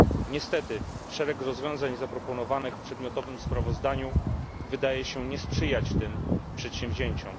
Niestety szereg rozwiązań zaproponowanych w przedmiotowym sprawozdaniu wydaje się nie sprzyjać tym przedsięwzięciom.